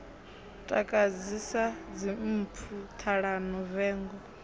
takadzi sa dzimpfu ṱhalano vengo